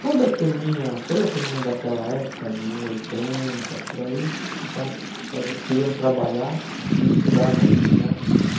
Toda turminha, toda turminha daquela época, de oitenta, por aí, já fazi queriam trabalhar e estudar à noite né.